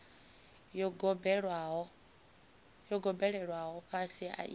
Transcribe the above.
yo gobelelwaho fhasi i tshi